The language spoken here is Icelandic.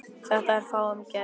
Þetta er fáum gefið.